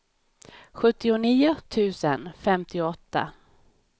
sjuttionio tusen femtioåtta